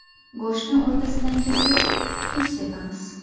Go‘shtni o‘rtasidan kesib, tuz sepamiz.